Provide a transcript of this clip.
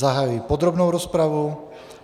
Zahajuji podrobnou rozpravu.